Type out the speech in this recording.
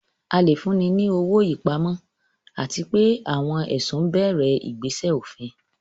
A lè fúnni ní owó ìpamọ́, àti pé àwọn ẹ̀sùn bẹ̀rẹ̀ ìgbésẹ̀ òfin.